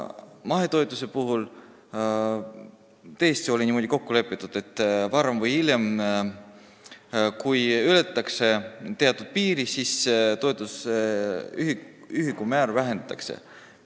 Mahetoetuse puhul lepiti tõesti niimoodi kokku, et varem või hiljem, kui ületatakse teatud piir, toetuse ühikumäära vähendatakse.